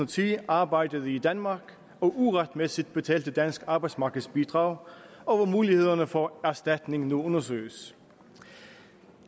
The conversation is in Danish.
ti arbejdede i danmark og uretmæssigt betalte dansk arbejdsmarkedsbidrag og hvor mulighederne for erstatning nu undersøges